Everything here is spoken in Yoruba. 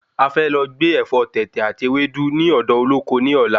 A fẹ́ lọ gbé Ẹ̀fọ́ tètè àti Ẹwẹ́dú ni odo Olóko ní ọ̀la